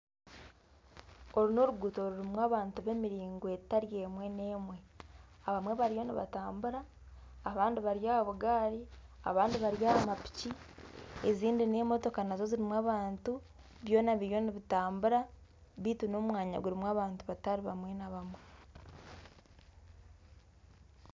Oru n'oruguuto rurimu abantu b'emiringo etari emwe n'emwe, abamwe bariyo nibatambura abandi bari aha bugaari abandi bari aha mapiki ezindi n'emotoka nazo zirimu abantu byona biri nibitambura baitu n'omwanya gurimu abantu batari bamwe na bamwe